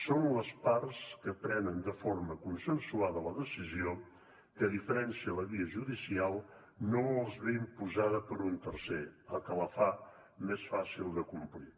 són les parts que prenen de forma consensuada la decisió que a diferència de la via judicial no els ve imposada per un tercer cosa que la fa més fàcil de complir